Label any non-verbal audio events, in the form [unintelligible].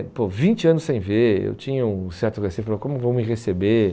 [unintelligible] vinte anos sem ver, eu tinha um certo receio, falar como vão me receber?